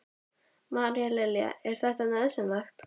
María Lilja: Er þetta nauðsynlegt?